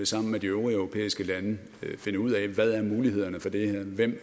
sammen med de øvrige europæiske lande vil finde ud af hvad mulighederne for det her er hvem